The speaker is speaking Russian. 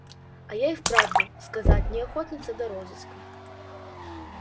а я и у правду сказать не охотница до розыска